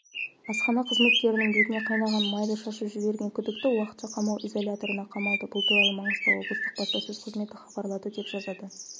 асхана қызметкерінің бетіне қайнаған майды шашып жіберген күдікті уақытша қамау изоляторына қамалды бұл туралы маңғыстау облыстық баспасөз қызметі хабарлады деп жазады